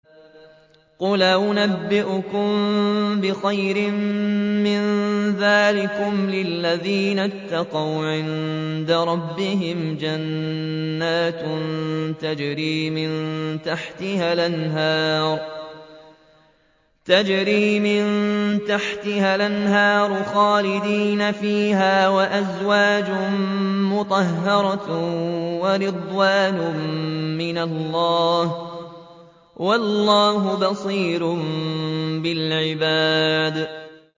۞ قُلْ أَؤُنَبِّئُكُم بِخَيْرٍ مِّن ذَٰلِكُمْ ۚ لِلَّذِينَ اتَّقَوْا عِندَ رَبِّهِمْ جَنَّاتٌ تَجْرِي مِن تَحْتِهَا الْأَنْهَارُ خَالِدِينَ فِيهَا وَأَزْوَاجٌ مُّطَهَّرَةٌ وَرِضْوَانٌ مِّنَ اللَّهِ ۗ وَاللَّهُ بَصِيرٌ بِالْعِبَادِ